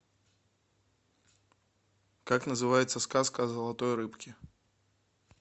как называется сказка о золотой рыбке